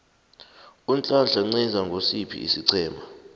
unhlanhla nciza ngosiphi isiqhema